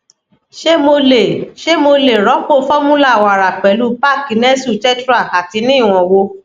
ṣé mo lè ṣé mo lè rọpò formula wàrà pẹlú pack nestle tetra ati ní ìwọn wo